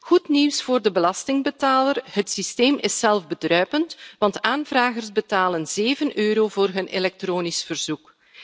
Goed nieuws voor de belastingbetaler het systeem is zelfbedruipend, want de aanvragers betalen 7 EUR voor hun elektronisch verzoek.